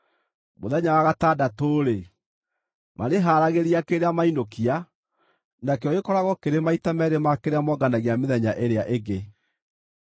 Mũthenya wa gatandatũ-rĩ, marĩharagĩria kĩrĩa mainũkia, nakĩo gĩkoragwo kĩrĩ maita meerĩ ma kĩrĩa monganagia mĩthenya ĩrĩa ĩngĩ.”